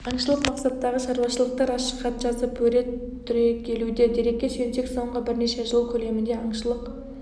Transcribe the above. аңшылық мақсаттағы шаруашылықтар ашық хат жазып өре түрегелуде дерекке сүйенсек соңғы бірнеше жыл көлемінде аңшылық